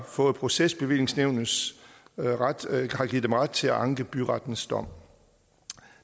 for procesbevillingsnævnet har givet dem ret til at anke byrettens dom